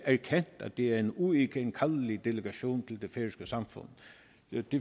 erkendt at det er en uigenkaldelig delegation til det færøske samfund jeg